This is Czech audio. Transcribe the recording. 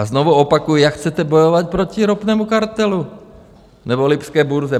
A znovu opakuji, jak chcete bojovat proti ropnému kartelu nebo lipské burze?